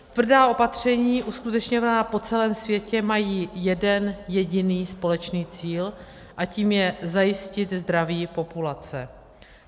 Tvrdá opatření uskutečňovaná po celém světě mají jeden jediný společný cíl a tím je zajistit zdraví populace.